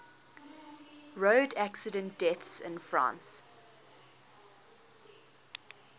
road accident deaths in france